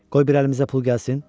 Qoy bir əlimizə pul gəlsin.